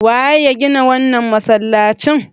Waye ya gina wannan masalacin?